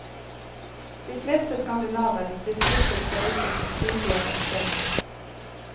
De fleste skandinaver blir smittet på reiser til sydligere strøk.